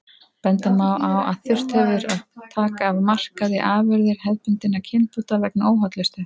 Benda má á að þurft hefur að taka af markaði afurðir hefðbundinna kynbóta vegna óhollustu.